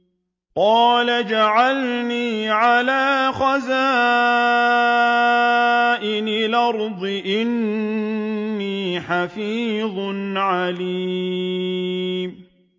قَالَ اجْعَلْنِي عَلَىٰ خَزَائِنِ الْأَرْضِ ۖ إِنِّي حَفِيظٌ عَلِيمٌ